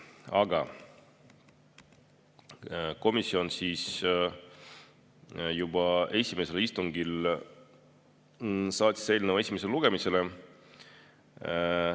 Aga komisjon juba esimesel istungil otsustas saata eelnõu esimesele lugemisele.